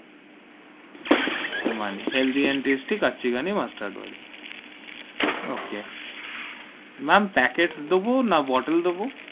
Emami healthy and tasty Kachi Ghani mustard oil okay ma'am packet দেব না bottle দেবো?